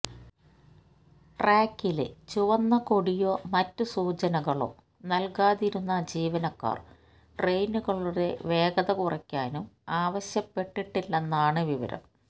ട്രാക്കില് ചുവന്ന കൊടിയോ മറ്റ് സൂചനകളോ നല്കാതിരുന്ന ജീവനക്കാര് ട്രെയിനുകളുടെ വേഗത കുറയ്ക്കാനും ആവശ്യപ്പെട്ടില്ലെന്നാണ് വിവരം